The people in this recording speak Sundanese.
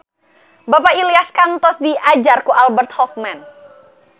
Bapak Ilyas kantos diajar ku Albert Hoffman